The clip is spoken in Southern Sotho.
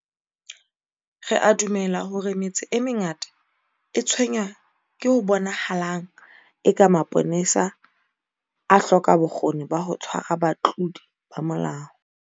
Re a dumela hore metse e mengata e tshwenngwa ke ho bonahalang eka mapolesa a hloka bokgoni ba ho tshwara batlodi ba molao.